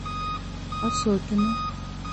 осокину